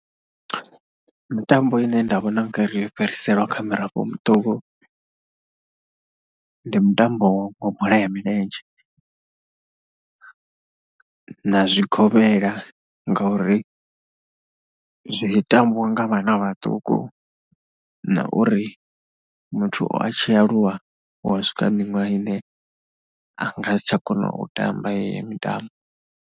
Mitambo ine nda vhona ngari yo fhiriselwa kha mirafho miṱuku, ndi mutambo wa bola ya milenzhe na zwigombela ngauri zwi mitambiwa nga vhana vhaṱuku na uri muthu a tshi aluwa hu a swika miṅwaha ine nga si tsha kona u tamba heyo mitambo.